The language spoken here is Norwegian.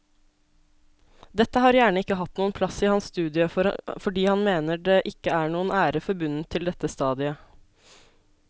Dette har gjerne ikke hatt noen plass i hans studie fordi han mener det ikke er noen ære forbundet til dette stadiet.